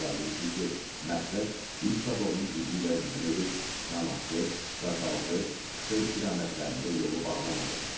Əlavə etdi ki, məqsəd üç taborun gücü ilə hücum edib Çanaqçı, Daşaltı, Şuşa istiqamətlərində yolu bağlamaq olub.